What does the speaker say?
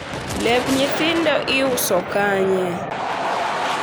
lep nyithindo iuso kanye?